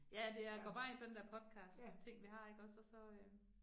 Ja ja det, jeg går bare ind på den der podcastting vi har ikke også, og så øh